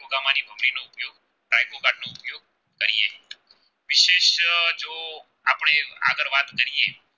કરીયે